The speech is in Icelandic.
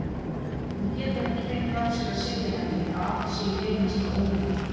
Hún getur ekki fengið af sér að segja henni að allt sé í hreinasta ólagi.